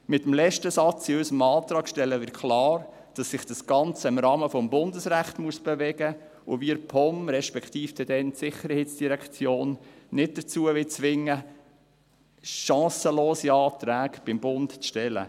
Mit dem letzten Satz in unserem Antrag stellen wir klar, dass sich das Ganze im Rahmen des Bundesrechts bewegen muss und wir die POM, respektive dann die Sicherheitsdirektion (SID), nicht dazu zwingen wollen, chancenlose Anträge beim Bund zu stellen.